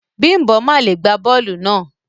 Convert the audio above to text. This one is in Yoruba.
Bimbo ma le gba bóòlù náà.